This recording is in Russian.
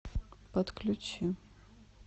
подключи